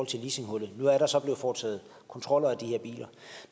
til leasinghullet nu er der så blevet foretaget kontroller af de her biler